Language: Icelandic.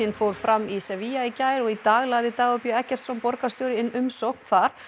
fór fram í Sevilla í gær og í dag lagði Dagur b Eggertsson borgarstjóri inn umsókn þar